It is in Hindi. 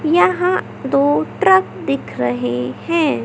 यहां दो ट्रक दिख रहे हैं।